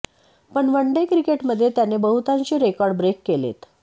पण one day क्रिकेटमध्ये त्याने बहुतांशी रेकॉर्ड ब्रेक केलेत